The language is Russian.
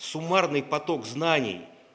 суммарный поток знаний